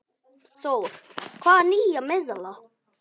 Þór: Hvaða nýja miðla?